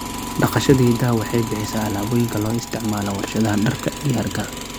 Dhaqashada idaha waxay bixisaa alaabooyinka loo isticmaalo warshadaha dharka iyo hargaha.